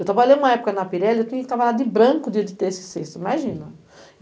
Eu trabalhei uma época na Pirelli, eu tinha que trabalhar de branco dia de terça e sexta, imagina.